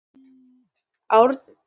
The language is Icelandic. Takið eftir!